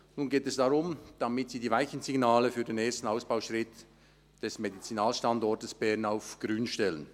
Nun geht es darum, die Weichensignale für den ersten Ausbauschritt des Medizinalstandorts Bern auf Grün zu stellen.